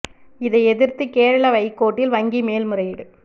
இதை எதிர்த்து கேரள ஐகோர்ட்டில் வங்கி மேல்முறையீடு